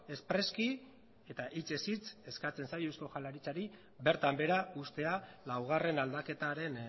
espreski eta hitzez hitz eskatzen zaio eusko jaurlaritzari bertan behera uztea laugarren aldaketaren